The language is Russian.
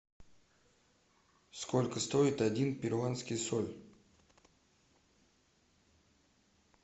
сколько стоит один перуанский соль